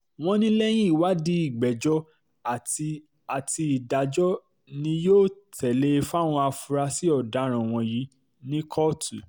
wọ́n ní lẹ́yìn ìwádìí ìgbẹ́jọ́ àti àti ìdájọ́ ni yóò um tẹ̀lé e fáwọn afurasí ọ̀daràn wọ̀nyí ní um kóòtù